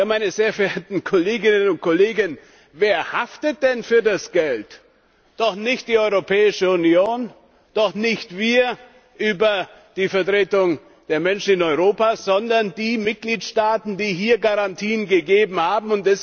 Meine sehr verehrten Kolleginnen und Kollegen, wer haftet denn für das Geld? Doch nicht die Europäische Union, doch nicht wir über die Vertretung der Menschen in Europa, sondern die Mitgliedstaaten, die hier Garantien gegeben haben!